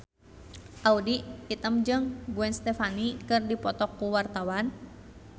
Audy Item jeung Gwen Stefani keur dipoto ku wartawan